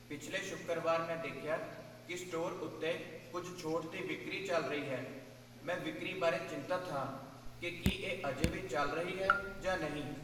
ਪਿਛਲੇ ਸ਼ੁੱਕਰਵਾਰ ਮੈਂ ਦੇਖਿਆ ਕਿ ਸਟੋਰ ਉੱਤੇ ਕੁੱਝ ਛੋਟ ਦੀ ਵਿਕਰੀ ਚੱਲ ਰਹੀ ਹੈ। ਮੈਂ ਵਿਕਰੀ ਬਾਰੇ ਚਿੰਤਤ ਹਾਂ ਕਿ ਕੀ ਇਹ ਅਜੇ ਵੀ ਚੱਲ ਰਹੀ ਹੈ ਜਾਂ ਨਹੀਂ।